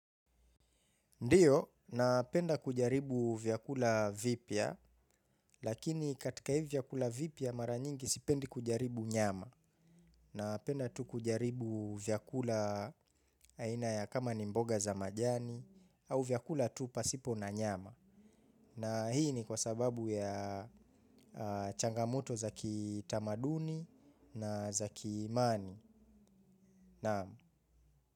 Ndiyo, napenda kujaribu vyakula vipya, lakini katika hivi vyakula vipya mara nyingi sipendi kujaribu nyama. Napenda tu kujaribu vyakula aina ya kama ni mboga za majani au vyakula tu pasipo na nyama. Na hii ni kwa sababu ya changamoto za kitamaduni na za kiimani.